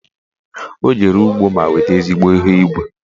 Ọ jere ugbo ma weta ezigbo ihe ubi